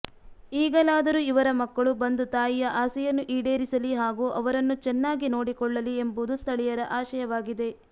ಈಗಲಾದರೂ ಇವರ ಮಕ್ಕಳು ಬಂದು ತಾಯಿಯ ಆಸೆಯನ್ನು ಈಡೇರಿಸಲಿ ಹಾಗೂ ಅವರನ್ನು ಚೆನ್ನಾಗಿ ನೋಡಿಕೊಳ್ಳಲಿ ಎಂಬುದು ಸ್ಥಳೀಯರ ಆಶಯವಾಗಿದೆ